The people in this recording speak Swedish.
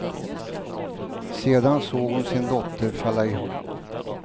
Sedan såg hon sin dotter falla ihop.